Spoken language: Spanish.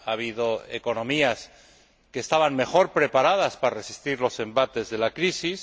Ha habido economías que estaban mejor preparadas para resistir los embates de la crisis